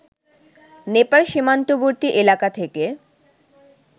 নেপাল সীমান্তবর্তী এলাকা থেকে